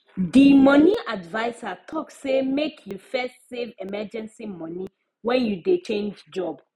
the money adviser talk say make you first save emergency money when you dey change job